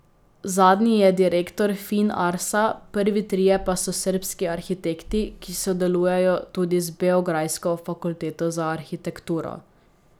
Zadnji je direktor Fin Arsa, prvi trije pa so srbski arhitekti, ki sodelujejo tudi z beograjsko fakulteto za arhitekturo.